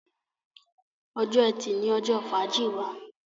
Ọjọ́ Ẹti ní ojó fàájì wá